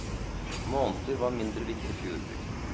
Måneder var mindre viktig for jordbruket.